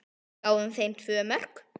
Við gáfum þeim tvö mörk.